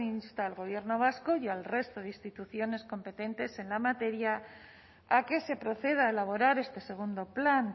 insta al gobierno vasco y al resto de instituciones competentes en la materia a que se proceda a elaborar este segundo plan